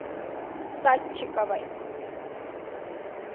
садчиковой